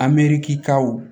Amerikisikaw